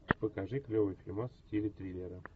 покажи клевый фильмас в стиле триллера